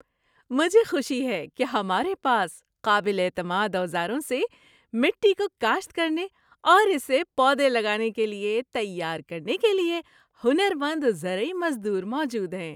مجھے خوشی ہے کہ ہمارے پاس قابل اعتماد اوزاروں سے مٹی کو کاشت کرنے اور اسے پودے لگانے کے لیے تیار کرنے کے لیے ہنر مند زرعی مزدور موجود ہیں۔